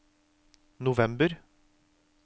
november